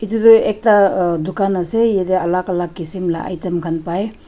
etu toh ekta ah dukan ase yate alak alak la kisim la item khan pai.